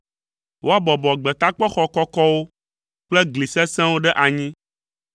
woabɔbɔ gbetakpɔxɔ kɔkɔwo kple gli sesẽwo ɖe anyi,